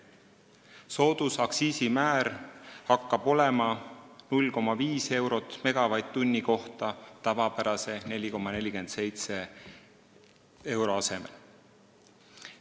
Soodusaktsiisimäär hakkab olema 0,5 eurot megavatt-tunni kohta tavapärase 4,47 euro asemel.